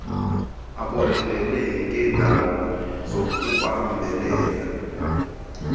abonelele ngeendawo zokubambelela